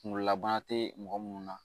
Kunkololabana tɛ mɔgɔ minnu na